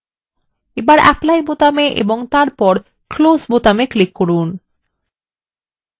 এখন apply বোতামে click করুন এবং তারপর close বোতামে click করুন